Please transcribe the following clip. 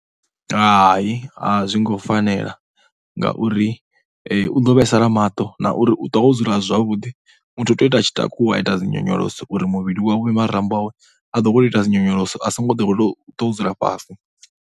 Hai, a zwo ngo fanela ngauri u ḓo vhaisala maṱo na uri ṱwa wo dzula a si zwavhuḓi. Muthu u tea u ita a tshi takuwa a tshi ita dzi nyonyoloso uri muvhili wawe, marambo awe a ḓowele u ita dzi nyonyoloso. A songo ḓowela u ṱwa o dzula fhasi.